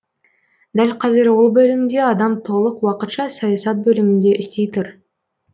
дәл қазір ол бөлімде адам толық уақытша саясат бөлімінде істей тұр